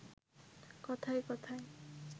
কথায় কথায়